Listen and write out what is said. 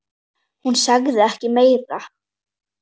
Hún sagði ekki meira.